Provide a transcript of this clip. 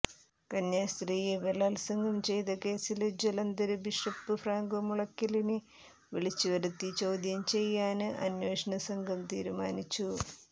കന്യാസ്ത്രീയെ ബലാത്സംഗം ചെയ്ത കേസില് ജലന്ധര് ബിഷപ്പ് ഫ്രാങ്കോ മുളയ്ക്കലിനെ വിളിച്ചുവരുത്തി ചോദ്യം ചെയ്യാന് അന്വേഷണ സംഘം തീരുമാനിച്ചു